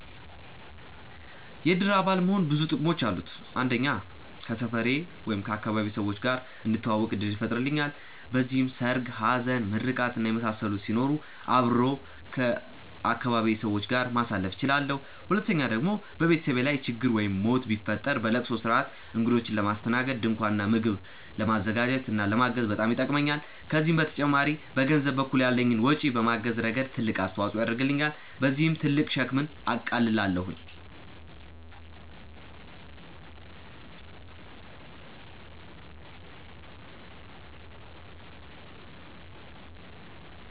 የእድር አባል መሆን ብዙ ጥቅሞች አሉት። አንደኛ ከሰፈሬ/ አካባቢዬ ሰዎች ጋር እንድተዋወቅ እድል ይፈጥርልኛል። በዚህም ሰርግ፣ ሀዘን፣ ምርቃት እና የመሳሰሉት ሲኖሩ አብሬ ከአካባቢዬ ሰዎች ጋር ማሳለፍ እችላለሁ። ሁለተኛ ደግሞ በቤተሰቤ ላይ ችግር ወይም ሞት ቢፈጠር ለለቅሶ ስርአት፣ እግዶችን ለማስተናገድ፣ ድንኳን እና ምግብ ለማዘጋጀት እና ለማገዝ በጣም ይጠቅሙኛል። ከዚህም በተጨማሪ በገንዘብ በኩል ያለኝን ወጪ በማገዝ ረገድ ትልቅ አስተዋፅኦ ያደርግልኛል። በዚህም ትልቅ ሸክምን አቃልላለሁኝ።